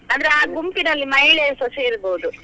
ಅಂದ್ರೆ ಆ ಗುಂಪಿನಲ್ಲಿ ಮಹಿಳೆಯರುಸ ಸೇರ್ಬೋದು?